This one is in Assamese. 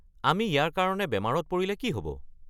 আমি ইয়াৰ কাৰণে বেমাৰত পৰিলে কি হ'ব?